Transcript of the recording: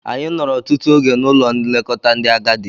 Anyị nọrọ ọtụtụ oge n'Ụlọ nlekọta ndị agadi.